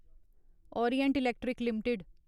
Orient Electric limited